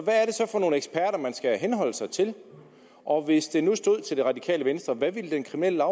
for nogle eksperter man skal henholde sig til og hvis det nu stod til det radikale venstre hvad ville den kriminelle